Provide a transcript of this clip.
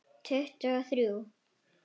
Tuttugu og þrjú!